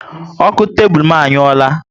Oku tebulu m anyuora